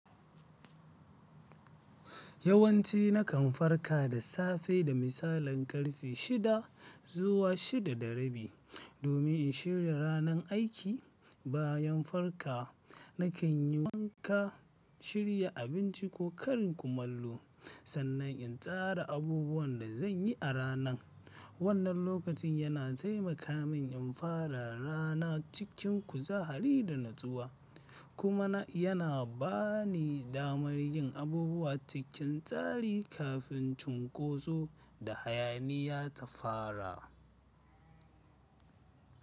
Yawanci nakan farka da safe da misalin karfe shida zuwa shida da rabi. Domin in shirya ranar aiki. Bayan farka, nakan yi wanka, shirya abinci ko karin kumallo. Sannan in tsara abubuwan da zan yi a ranan. Wannan lokacin yana taimaka min in fara rana cikin kuzari da natsuwa, kuma yana ba ni damar yin abubuwa cikin tsari kafin cunkoso da hayaniya ta fara.